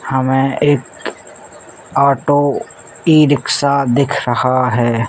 हमें एक auto e-rickshaw दिख रहा है।